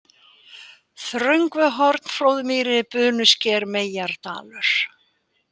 Þröngvuhorn, Flóðmýri, Bunusker, Meyjardalur